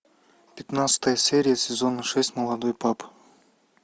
пятнадцатая серия сезона шесть молодой папа